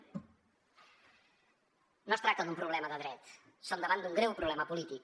no es tracta d’un problema de dret som davant d’un greu problema polític